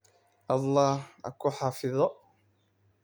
Allaha ku xafido.